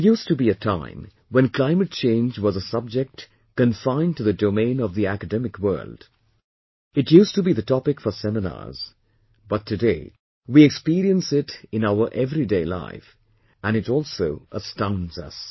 There used to be a time when climate change was a subject confined to the domain of the academic world, it used to be the topic for seminars, but today, we experience it in our everyday life and it also astounds us